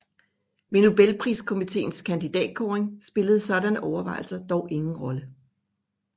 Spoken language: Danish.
Ved nobelpriskommiteens kandidatkåring spillede sådanne overvejelser dog ingen rolle